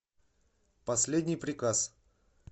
последний приказ